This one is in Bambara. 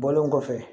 Bɔlen kɔfɛ